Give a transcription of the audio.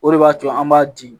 O de b'a to an b'a di